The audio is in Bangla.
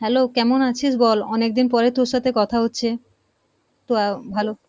hello, কেমন আছিস বল? অনেকদিন পরে তোর সাথে কথা হচ্ছে, তো অ্যা ভালো।